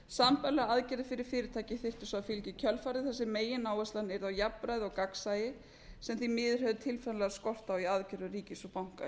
sambærilegar aðgerðir fyrir fyrirtæki þyrftu svo að fylgja í kjölfarið þar sem megináherslan yrði á jafnræði og gagnsæi sem því miður hefur tilfinnanlega skort á í aðgerðum ríkis og banka